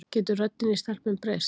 getur röddin í stelpum breyst